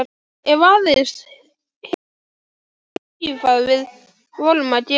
Ef aðeins hinir krakkarnir sæju hvað við vorum að gera.